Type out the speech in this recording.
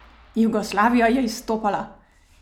Jugoslavija je izstopala!